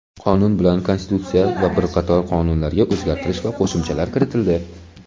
Qonun bilan Konstitutsiya va bir qator qonunlarga o‘zgartirish va qo‘shimchalar kiritildi.